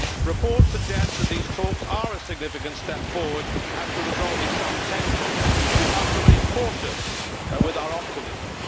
Reports suggest that these talks are a significant step forward as to resolving some tensions, but we must remain cautious with our optimism.